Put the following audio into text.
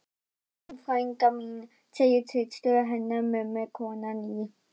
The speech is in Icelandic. Vertu velkomin frænka mín, segir systir hennar mömmu, konan í